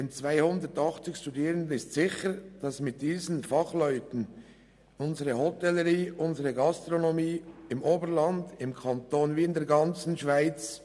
Die 280 Studierenden nützen später als Fachkräfte unserer Hotellerie und unserer Gastronomie, nicht nur im Oberland, sondern im ganzen Kanton und in der ganzen Schweiz.